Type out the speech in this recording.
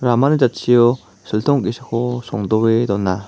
ramani jatchio siltong ge·sako songdoe dona.